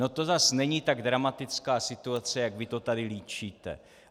No to zase není tak dramatická situace, jak vy to tady líčíte.